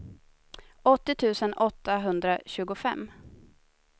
åttio tusen åttahundratjugofem